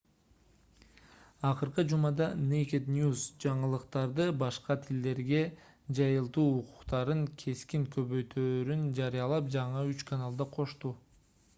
акыркы жумада naked news жаңылыктарды башка тилдерде жайылтуу укуктарын кескин көбөйтөөрүн жарыялап жаңы үч каналды кошту